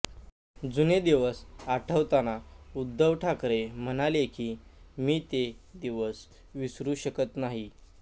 जुने दिवस आठवताना उद्धव ठाकरे म्हणाले की मी ते दिवस विसरू शकत नाही